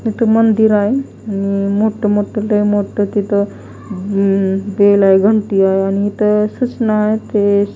इथ मंदिर आहे आणि मोठं मोठं मोठं तिथं उम्म बेल आहे घंटी आहे आणि इथं सूचना आहे ते--